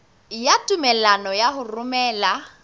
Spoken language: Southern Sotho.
ya tumello ya ho romela